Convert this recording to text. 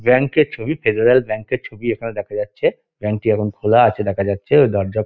Bank -এর ছবি Federal Bank -এর ছবি এখানে দেখা যাচ্ছে। ব্যাঙ্ক -টি এখন খোলা আছে দেখা যাচ্ছে ও দরজা--